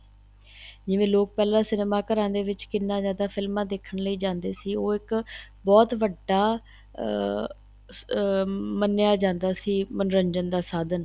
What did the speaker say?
ਜਿਵੇਂ ਲੋਕ ਪਹਿਲਾਂ cinema ਘਰਾਂ ਦੇ ਵਿੱਚ ਕਿੰਨਾ ਜਿਆਦਾ ਫਿਲਮਾਂ ਦੇਖਣ ਲਈ ਜਾਂਦੇ ਸੀ ਉਹ ਇੱਕ ਬਹੁਤ ਵੱਡਾ ਅਹ ਮੰਨਿਆਂ ਜਾਂਦਾ ਸੀ ਮੰਨੋਰੰਜਨ ਦਾ ਸਾਧਨ